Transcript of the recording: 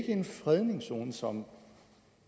en fredningszone som